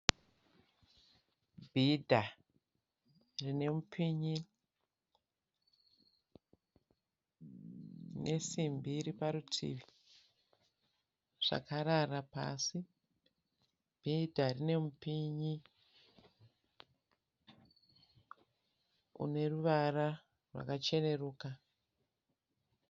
Bhidha rine mupinyi nesimbi iri parutivi, zvakarara pasi. Bhidha rine mupinyi une ruvara rwakacheneruka.